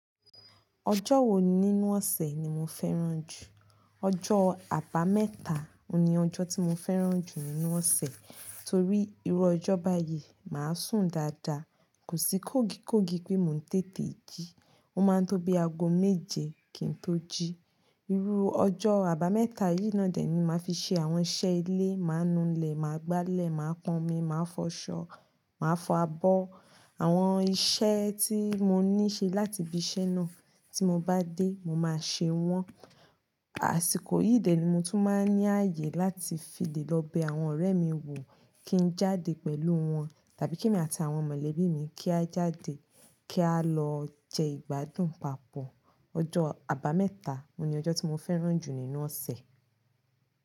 Ọjọ́ wo ni nínú ọ̀sẹ̀ ni mo fẹ́ràn jù? Ọjọ́ àbámẹ́ta ni ọjọ́ tí mo fẹ́ràn jù nínú ọ̀sẹ̀ torí irú ọjọ́ báyìí máa sùn dáadáa, kò sí kógikógi pé mo ń tètè jí, ó máa ń tó bí aago méje kí n tó jí. Irú ọjọ́ àbámẹ́ta yìí náà dè ẹ́ ni màá fi ṣe àwọn iṣẹ́ ilé, màá nulẹ̀, máa gbálẹ̀, màá pọn omi, màá fọṣọ, màá fọ abọ́. Àwọn iṣẹ́ tí mo ní ṣe láti bí iṣẹ́ náà tí mo bá dé, mo máa ṣe wọ́n. Àsìkò yìí dẹ́ ni mo tún máa ń ní ààyè láti fi lè lọ bẹ àwọn ọ̀rẹ́ mi wò kí n jáde pẹ̀lú wọn tàbí kí èmi àti àwọn mọ̀lẹ́bí mi kí a jáde kí a lọ jẹ ìgbádùn papọ̀. Ọjọ́ àbámẹ́ta ni ọjọ́ tí mo fẹ́ràn jù nínú ọ̀sẹ̀.